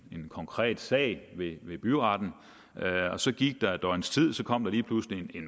en konkret sag ved ved byretten så gik der et døgns tid og så kom der lige pludselig